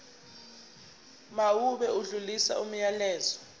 mawube odlulisa umyalezo